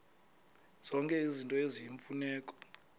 zonke izinto eziyimfuneko